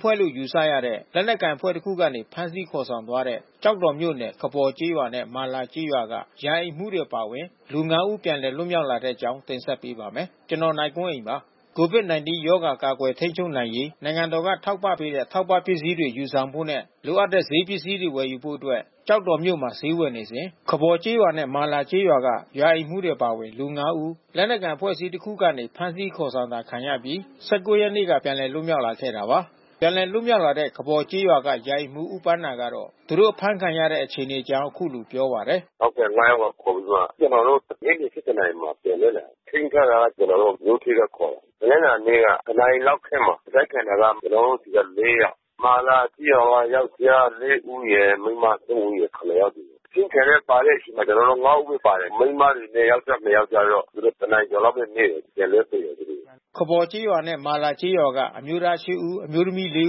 ဖွဲ့လို့ယူဆရတဲ့ လက်နက်ကိုင်အဖွဲ့တခုကနေ ဖမ်းဆီးခေါ်ဆောင်သွားတဲ့ ကျောက်တော်မြို့နယ်၊ ခဘော်ကျေးရွာနဲ့ မာလာကျေးရွာက ရာအိမ်မှူးအပါအဝင် လူ ငါးဦး ပြန်လည်လွတ်မြောက်လာတဲ့အကြောင်းကို ဗွီအိုအေမြန်မာပိုင်းသတင်းထောက် ကိုနိုင်ကွန်းအိန်က တင်ဆက်ပေးပါမယ်။ COVID -19 ရောဂါကာကွယ် ထိန်းချုပ်နိုင်ရေး နိုင်ငံတော်က ထောက်ပံ့ပေးတဲ့ထောက်ပံ့ ပစ္စည်းတွေ ယူဆောင်ဖို့နဲ့ လိုအပ်တဲ့ ဈေးပစ္စည်းတွေ ဝယ်ယူဖို့အတွက် ကျောက်တော်မြို့မှာ ဈေးဝယ်နေစဉ် ခဘော်ကျေးရွာနဲ့ မာလာကျေးရွာက ရာအိမ်မှူးအပါအဝင် လူ ငါး ဦး လက်နက်ကိုင်အဖွဲ့အစည်းတခုကနေ ဖမ်းဆီးခေါ်ဆောင်တာခံရပြီး ၁၉ ရက်နေ့ ကပြန်လည်လွတ်မြောက်လာခဲ့တာပါ။ ပြန်လည်လွတ်မြောက်လာတဲ့ ခဘော်ကျေးရွာမှ ရာအိမ်မှူး ဦးပန်းသာက သူတို့အဖမ်းဆီးခံရတဲ့ အခြေအနေအကြောင်း အခုလိုပြောပါတယ်။ “ဟုတ်ကဲ့။ ငါး ယောက်ကို ခေါ်ပြီးမှ ကျနော်တို့နေ့လည် ၁၁ နာရီမှာပြန်လွတ်လာတာ။ ထိန်းထားတာက ကျနော်တို့ကိုမြို့ထဲကခေါ်တာ။ တနင်္လာနေ့က တနာရီလောက်ထဲမှာ။ အဖမ်းခံရတာက ကျနော်တို့ဆီက လေး ယောက်။ မာလာကျေးရွာကယောင်္ကျား လေး ဦးရယ်၊ မိန်းမ သုံး ဦးရယ်၊ ခုနစ်ယောက်စီ။ အစုခံတဲ့ပါတဲ့ဆီ ကျနော်တို့ ၅ ဦးပဲပါတယ်။ မိန်းမတွေနဲ့ ယောကျ်ား နှစ် ယောက်ကျတော့ သူတို့ တနာရီကျော်လောက်လည်း မေးတယ်။ ပြန်လွှတ်ပေးတယ်သူတို့ကို။" ခဘော်ကျေးရွာနဲ့ မာလာကျေးရွာက အမျိုးသား ရှစ် ဦး၊ အမျိုးသမီး လေး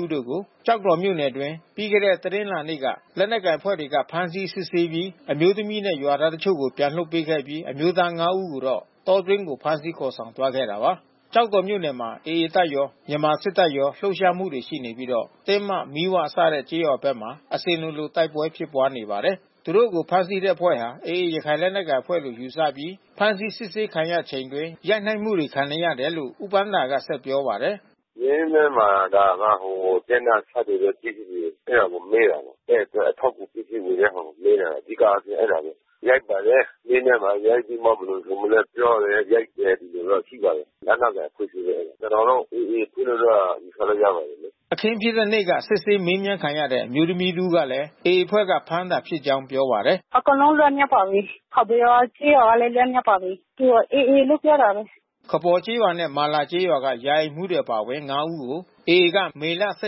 ဦးတို့ကို ကျောက်တော်မြို့အတွင်း ပြီးခဲ့တဲ့ တနင်္လာနေ့က လက်နက်ကိုင်အဖွဲ့တွေက ဖမ်းဆီးစစ်ဆေးပြီး အမျိုးသမီးနဲ့ ရွာသားတချို့ကို ပြန်လွှတ်ပေးပြီး အမျိုးသား ငါး ဦးကိုတော့ တောအတွင်းကိုဖမ်းဆီးခေါ်ဆောင်သွားခဲ့တာပါ။ ကျောက်တော်မြို့နယ်မှာ AA တပ်ရော၊ မြန်မာစစ်တပ်ရော လှုပ်ရှားမှုရှိပြီးတော့ တင်းမ မီး၀ စတဲ့ကျေးရွာဘက်မှာ အစဉ်လိုလို တိုက်ပွဲဖြစ်ပွားနေပါတယ်။ သူတို့ကို ဖမ်းဆီးတဲ့အဖွဲ့ဟာ AA ရခိုင်လက်နက်ကိုင်အဖွဲ့လို့ ယူဆပြီး ဖမ်းဆီးစစ်ဆေးခံရချိန်အတွင်း ရိုက်နှက်မှုတွေခံရတယ်လို့ ဦးပန်းသာက ဆက်ပြောပါတယ်။ “မေးမြန်းတာက ဟိုတပ်နဲ့ သက်ဆိုင်တဲ့ပစ္စည်းတွေ အဲတာကို မေးတာပါ။ တပ်အတွက်အထောက်အကူ ပစ္စည်းဝယ်တဲ့ဟာကိုမေးတာ အဓိကအားဖြင့် အဲတာပဲ။ ရိုက်ပါတယ်။ မေးမြန်းတာ ရိုက်ပြီးမှ ဘယ်လိုဆိုမလည်းပြောတယ်။ ရိုက်တယ်။ ဒီလိုတော့ ရှိပါတယ်။ လက်နက်ကိုင်အဖွဲ့အစည်းပဲ ကျနော်တော့ AA အဖွဲ့အစည်းလို့တော့ ယူဆလို့ရပါတယ်။” အခင်းဖြစ်တဲ့နေ့က စစ်ဆေးမေးမြန်းခံရတဲ့ အမျိုးသမီးတဦးကလည်း AA အဖွဲ့က ဖမ်းတာဖြစ်ကြောင်းပြောပါတယ်။ “အကုန်လုံးလွတ်မြောက်ပါပြီ။ ခဘော်ကျေးရွာကလည်း လွတ်မြောက်ပါပြီ။ AA လို့ပြောတာပဲ။” ခဘော်ကျေးရွာနဲ့ မာလာကျေးရွာက ရာအိမ်မှူးအပါအဝင် ငါး ဦးကို AA က မေလ ၁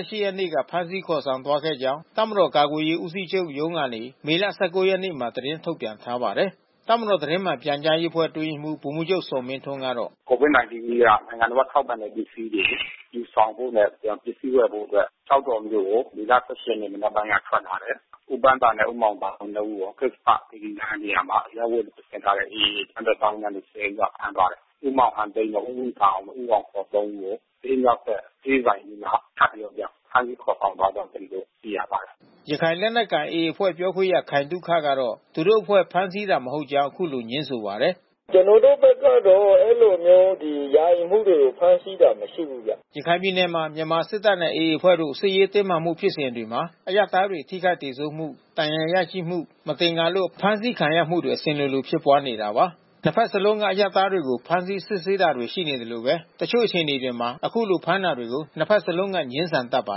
၈ ရက်နေ့က ဖမ်းဆီးခေါ်ဆောင်သွားခဲ့ကြောင်း တပ်မတော်ကာကွယ်ရေးဦးစီးချုပ်ရုံးကနေ မေလ ၁၉ ရက်နေ့မှာ သတင်းထုတ်ပြန်ထားပါတယ်။ တပ်မတော်သတင်းမှန်ပြန်ကြားရေးအဖွဲ့ အတွင်းရေးမှူး ဗိုလ်မှူးချုပ်ဇော်မင်းထွန်းကတော့ “COVID-19 က နိုင်ငံတော်က ထောက်ပံ့တဲ့ပစ္စည်းတွေ ယူဆောင်ဖို့နဲ့ ပစ္စည်းဝယ်ဖို့အတွက် ကျောက်တော်မြို့ကို မေလ ၁၈ ရက်နေ့ မနက်ပိုင်းက ထွက်လာတယ်။ ဦးပန်းသာနဲ့ဦးမောင်သာဝင်း နှစ် ဦးကို ကစ္ဆပသီရိလမ်းနေရာမှာ အရပ်ဝတ် ဝတ်ဆင်ထားတဲ့ AA အကြမ်းဖက်သောင်းကျန်းသူ ၁၀ ဦးက ဖမ်းသွားတယ်။ ဦးမောင်ဟန်သိန်း၊ ဦးဝေသာအောင်၊ ဦးအောင်စော သုံး ဦးကို ဈေးမြောက်ဘက် ဆေးဆိုင်အနီးမှာ ထပ်ပြီးတော့မှ ဖမ်းဆီးခေါ်ဆောင်သွားကြောင်း ကျနော်တို့ သိရပါတယ်။” ရခိုင်လက်နက်ကိုင် AA အဖွဲ့ပြောခွင့်ရခိုင်သုခကတော့ သူတို့အဖွဲ့ဖမ်းဆီးတာ မဟုတ်ကြောင်း အခုလိုငြင်းဆိုပါတယ်။ “ကျနော်တို့ဘက်ကတော့ အဲဒီလိုမျိုး ဒီ ရာအိမ်မှူးတွေ ဖမ်းဆီးတာ မရှိဘူးဗျ။” ရခိုင်ပြည်နယ်မှာ မြန်မာစစ်တပ်နဲ့ AA အဖွဲ့တို့ စစ်ရေးတင်းမာမှုဖြစ်စဉ်တွေမှာ အရပ်သားတွေ ထိခိုက်သေဆုံးမှု ဒဏ်ရာရရှိမှု မသင်္ကာလို့ အဖမ်းဆီးခံရမှုတွေအစဉ်လို ဖြစ်ပွားနေတာပါ။ နှစ်ဘက်စလုံးက အရပ်သားတွေကို ဖမ်းဆီး စစ်ဆေးတာတွေ ရှိသလိုပဲ အချို့အခြေအနေတွေမှာ ခုလိုဖမ်းတာတွေကို နှစ်ဘက်စလုံးက ငြင်းဆန်တတ်ကြပါ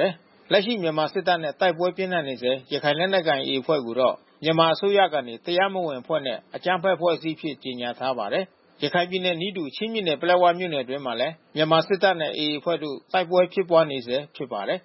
တယ်။ လက်ရှိမြန်မာစစ်တပ်နဲ့ တိုက်ပွဲပြင်းထန်နေဆဲ ရခိုင်လက်နက်ကိုင် AA အဖွဲ့ကိုတော့ မြန်မာအစိုးရကနေ တရားမဝင်အဖွဲ့နဲ့ အကြမ်းဖက်အဖွဲ့အစည်းအဖြစ် ကြေညာထားပါတယ်။ ရခိုင်ပြည်နယ်နည်းတူ ချင်းပြည်နယ် ပလက်ဝမြို့နယ်အတွင်းမှာလည်း မြန်မာစစ်တပ်နဲ့ AA အဖွဲ့တို့ တိုက်ပွဲဖြစ်ပွားနေဆဲဖြစ်ပါတယ်